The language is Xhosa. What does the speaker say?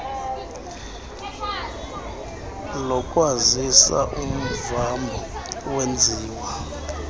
lokwazisa umvambo wenziwa